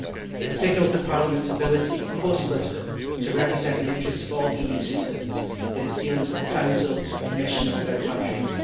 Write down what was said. It signals the Parliament's ability, post Lisbon, to represent the interests of all EU citizens in its dealings with the Council, Commission and third countries.